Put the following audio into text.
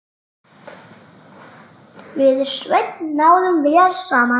Við Sveinn náðum vel saman.